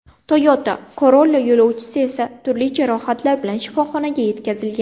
Toyota Corolla yo‘lovchisi esa turli jarohatlar bilan shifoxonaga yetkazilgan.